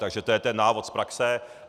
Takže to je ten návod z praxe.